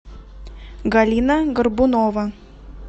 галина горбунова